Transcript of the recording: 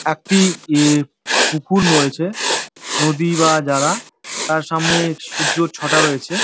একটি -এ পুকুর রয়েছে নদী বা জ্লা | তার সামনে সূয্যর ছটা রয়েছে।